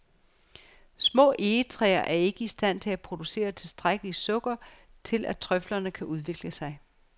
Små egetræer er ikke i stand til at producere tilstrækkeligt sukker til at trøflerne kan udvikle sig.